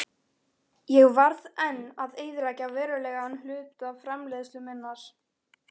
Ég varð enn að eyðileggja verulegan hluta framleiðslu minnar.